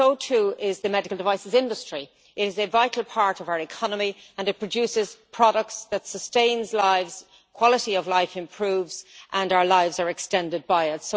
But so, too, is the medical devices industry it is a vital part of our economy and it produces products that sustain lives, quality of life improves and our lives are extended by it.